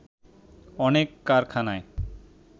অনেক কারখানায়